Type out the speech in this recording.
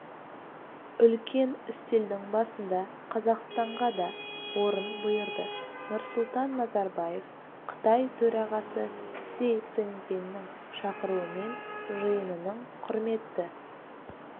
үлкен үстелдің басында қазақстанға да орын бұйырды нұрсұлтан назарбаев қытай төрағасы си цзиньпиннің шақыруымен жиынының құрметті